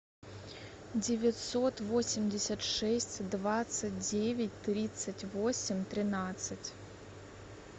девятьсот восемьдесят шесть двадцать девять тридцать восемь тринадцать